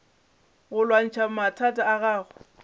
go lwantšha mathata a gago